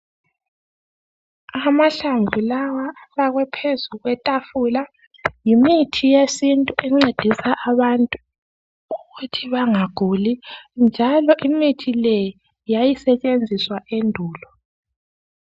Amahlamvu lawa afakwe phezu kwetafula yimithi yesintu encedisa abantu ukuthi bangaguli njalo imithi le yayisetshenziswa endulo.